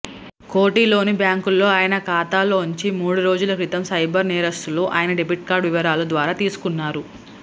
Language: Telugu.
కోఠీలోని బ్యాంకులో ఆయన ఖాతాలోంచి మూడురోజుల క్రితం సైబర్ నేరస్థులు ఆయన డెబిట్ కార్డు వివరాల ద్వారా తీసుకున్నారు